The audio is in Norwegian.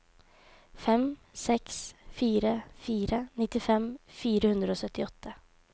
fem seks fire fire nittifem fire hundre og syttiåtte